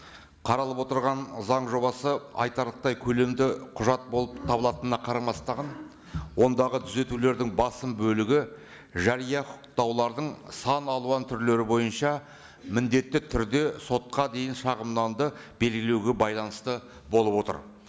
қаралып отырған заң жобасы айтарлықтай көлемді құжат болып табылатынына қарамастан ондағы түзетулердің басым бөлігі жария құқықтаулардың сан алуан түрлері бойынша міндетті түрде сотқа дейін шағымдарды белгілеуге байланысты болып отыр